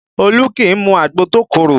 Olu kì í mu agbo tó korò